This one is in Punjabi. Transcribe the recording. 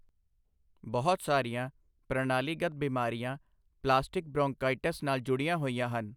ਬਹੁਤ ਸਾਰੀਆਂ ਪ੍ਰਣਾਲੀਗਤ ਬਿਮਾਰੀਆਂ ਪਲਾਸਟਿਕ ਬ੍ਰੌਂਕਾਇਟਿਸ ਨਾਲ ਜੁੜੀਆਂ ਹੋਈਆਂ ਹਨ।